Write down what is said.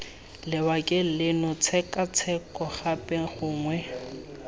lebakeng leno tshekatsheko gape gongwe